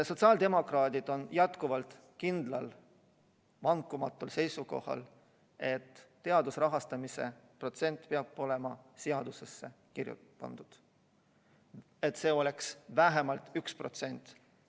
Sotsiaaldemokraadid on jätkuvalt kindlal ja vankumatul seisukohal, et teaduse rahastamise protsent peab olema seadusesse kirja pandud, see peaks olema vähemalt 1%.